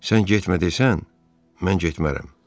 Sən getmə desən, mən getmərəm.